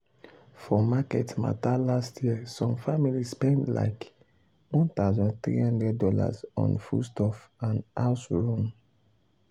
for market matter last year some family spend spend likeone thousand three hundred dollarson foodstuff and house run.